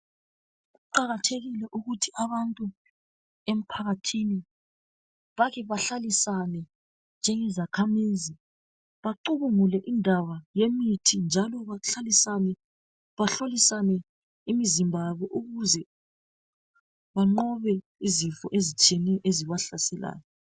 Kuqakathekile ukuthi abantu emphakathini bake bahlalisane njengazakhamizi bacubungule indaba yemithi njalo bahlolisane imizimba yabo ukuze banqobe izifo ezitshiyeneyo ezibahlaselayo.